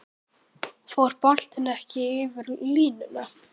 Fór boltinn ekki yfir línuna?